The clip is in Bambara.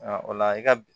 o la i ka